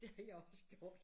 Det har jeg også gjort